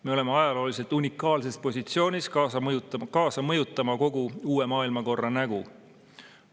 Me oleme ajalooliselt unikaalses positsioonis kaasa mõjutamas kogu uue maailmakorra nägu.